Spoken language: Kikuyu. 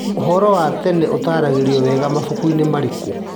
ũhoro wa tene ũtaragĩrio wega mabuku-inĩ marĩkũ?